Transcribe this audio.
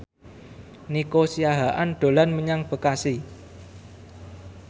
Nico Siahaan dolan menyang Bekasi